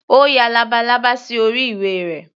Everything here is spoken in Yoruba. Ó ya labalábá sí orí ìwé rẹ̀.